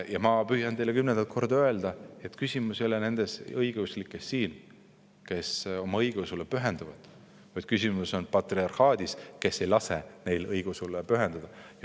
Ja ma püüan teile kümnendat korda öelda, et küsimus ei ole mitte siinsetes õigeusklikes, kes oma õigeusule pühenduvad, vaid küsimus on patriarhaadis, kes ei lase neil õigeusule pühenduda.